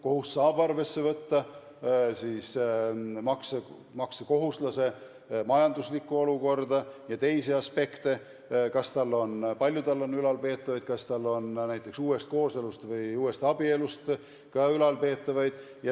Kohus saab arvesse võtta maksekohuslase majanduslikku olukorda ja teisi aspekte – kas ja kui palju on tal ülalpeetavaid, kas tal on näiteks uuest kooselust või uuest abielust ka ülalpeetavaid.